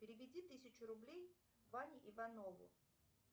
переведи тысячу рублей ване иванову